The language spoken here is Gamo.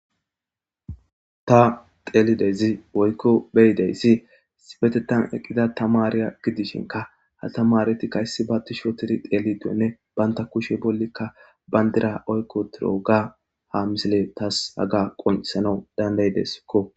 Ta telidezi oykko beyideyssi sibetetan eqqida tamariya gidishinka ha tamaretikkayssi ba tishoteri teelidonne banta kushe bollikka bayndira oykko tiro ga ha misile tas haga qonisanau dandayideskko.